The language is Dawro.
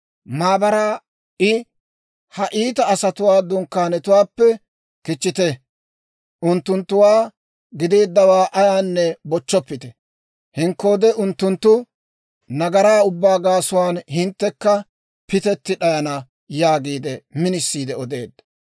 Maabaraa I, «Ha iita asatuu dunkkaanetuwaappe kichchite; unttunttuwaa gideeddawaa ayaanne bochchoppite. Henkkoode unttunttu nagaraa ubbaa gaasuwaan hinttekka pitetti d'ayana» yaagiide minisiide odeedda.